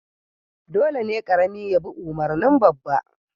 Dole ne karami ya bi umarnin babba